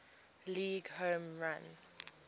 league home run